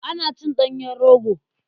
Ana cin ɗanyen rogo.